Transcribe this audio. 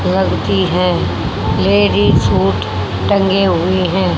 लगती है ladies suit टंगे हुए हैं।